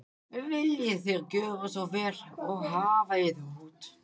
Viljið þér gjöra svo vel og hafa yður út.